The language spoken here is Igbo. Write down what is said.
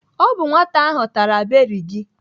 Ọ bụ nwata ahụ tara beri gị.